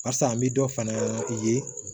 Barisa an bɛ dɔ fana ye